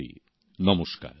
আমার প্রিয় দেশবাসী নমস্কার